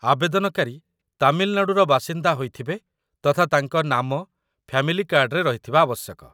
ଆବେଦନକାରୀ ତାମିଲନାଡ଼ୁର ବାସିନ୍ଦା ହୋଇଥିବେ ତଥା ତାଙ୍କ ନାମ ଫ୍ୟାମିଲି କାର୍ଡ଼ରେ ରହିଥିବା ଆବଶ୍ୟକ